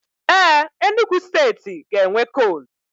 Éè, Enugu steeti ga-enwe kol